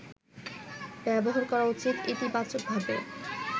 ব্যবহার করা উচিত ইতিবাচকভাবে